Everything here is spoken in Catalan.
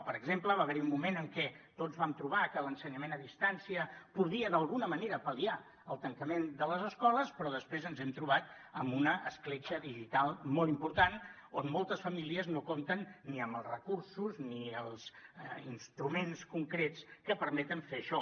per exemple va haver hi un moment en què tots vam trobar que l’ensenyament a distància podia d’alguna manera pal·liar el tancament de les escoles però després ens hem trobat amb una escletxa digital molt important on moltes famílies no compten ni amb els recursos ni amb els instruments concrets que permeten fer això